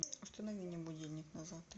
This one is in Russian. установи мне будильник на завтра